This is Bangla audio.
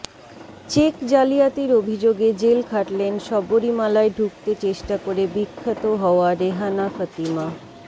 চেক জালিয়াতির অভিযোগে জেল খাটলেন শবরীমালায় ঢুকতে চেষ্টা করে বিখ্যাত হওয়া রেহানা ফতিমা